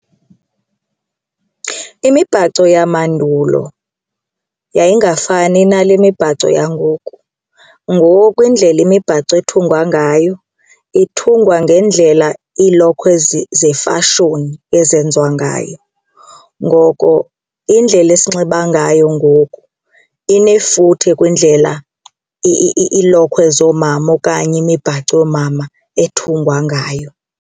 Imibhaco yamandulo yayingafani nale mibhaco yangoku. Ngoku indlela imibhaco ethungwa ngayo ithungwa ngendlela ilokhwe zefashoni ezenziwa ngayo. Ngoko indlela esinxiba ngayo ngoku inefuthe kwindlela iilokhwe zoomama okanye imibhaco yoomama ethungwa ngayo.